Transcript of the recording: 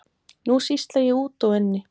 Nú sýsla ég úti og inni.